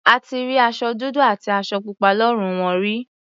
A ti rí aṣọ dúdú àti aṣọ pupa lọ́rùn wọn rí.